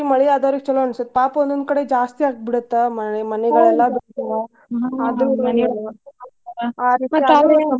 ಮಳಿ ಆದೋರಿಗ್ ಚುಲೊ ಅನಿಸತ್ತ್ ಪಾಪ ಒಂದೊಂದ್ ಕಡೆ ಜಾಸ್ತಿ ಆಗಿಬಿಡತ್ತ.